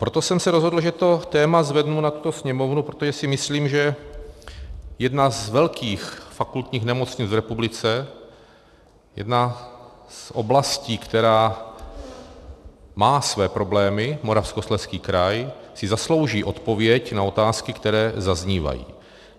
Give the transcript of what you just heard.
Proto jsem se rozhodl, že to téma zvednu na tuto sněmovnu, protože si myslím, že jedna z velkých fakultních nemocnic v republice, jedna z oblastí, která má své problémy, Moravskoslezský kraj, si zaslouží odpověď na otázky, které zaznívají.